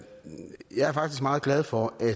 faktisk meget glad for at